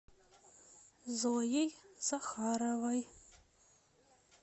зоей захаровой